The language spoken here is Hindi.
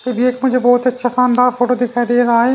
ये भी एक मुझे बहुत अच्छा शानदार फोटो दिखाई दे रहा है।